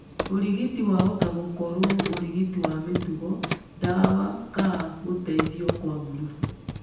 Ũrigiti wahota gũkoro ũrigiti wa mĩtugo, ndawa ka gũteithio kwa gurubu.